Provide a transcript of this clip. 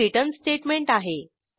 हे return statement आहे